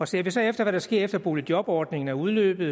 ser vi så efter hvad der sker efter at boligjobordningen er udløbet